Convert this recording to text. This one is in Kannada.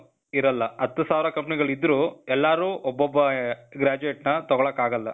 ಇರಲ್ಲ. ಹತ್ತು ಸಾವ್ರ company ಗಳಿದ್ರೂ, ಎಲ್ಲಾರೂ ಒಬ್ಬೊಬ್ಬ graduate ನ ತಗೋಳಕ್ ಆಗಲ್ಲ.